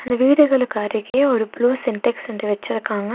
அந்த வீடுகளுக்கு அருகே ஒரு ப்ளூ சின்டெக்ஸ் ரெண்டு வெச்சிருக்காங்க.